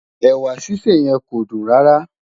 ẹwà sise yen kọ dun rárá